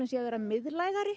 sé að verða miðlægari